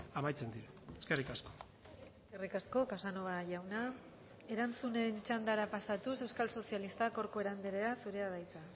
amaitzen dira eskerrik asko eskerrik asko casanova jauna erantzunen txandara pasatuz euskal sozialistak corcuera andrea zurea da hitza